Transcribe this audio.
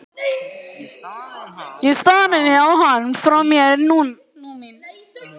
Ég starði á hann, frá mér numin.